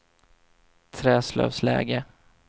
Träslövsläge